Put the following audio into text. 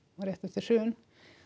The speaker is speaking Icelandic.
rétt eftir hrun